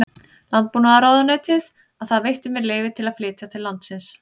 Landbúnaðarráðuneytið að það veitti mér leyfi til að flytja til landsins